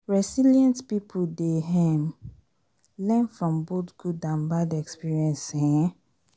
resilient pipo dey um learn from both good and bad experiences um